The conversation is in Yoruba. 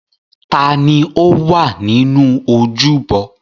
Ta ni ó wà nínú ojúbọ?